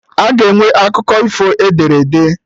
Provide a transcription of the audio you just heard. Aga enwe akụkọ ifo ederede